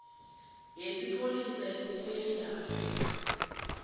yesipholisa sesewula afrika